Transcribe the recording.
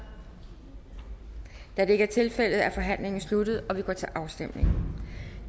da det ikke er tilfældet er forhandlingen sluttet og vi går til afstemning